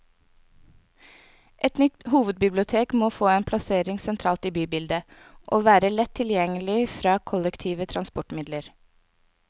Et nytt hovedbibliotek må få en plassering sentralt i bybildet, og være lett tilgjengelig fra kollektive transportmidler.